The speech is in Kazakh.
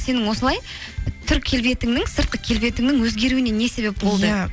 сенің осылай түр келбетіңнің сыртқы келбетіңнің өзгеруіне не себеп болды иә